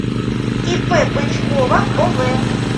ип бычкова ов